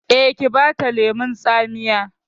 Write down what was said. Eh, ki bata lemon tsamiya